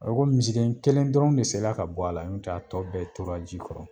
A b komi misiden kelen dɔrɔn de sela ka bɔ a la ɲɔntɛ a tɔ bɛɛ tora ji kɔrɔ.